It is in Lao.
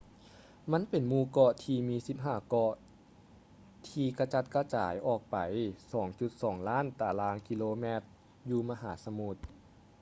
ມັນເປັນໝູ່ເກາະທີ່ມີ 15 ເກາະທີ່ກະຈັດກະຈາຍອອກໄປ 2.2 ລ້ານຕາລາງກິໂລຕາແມັດຢູ່ມະຫາສະມຸດ